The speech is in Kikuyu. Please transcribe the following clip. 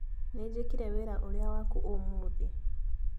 Nĩnjĩkire wĩra ũrĩa waku ũmũthĩ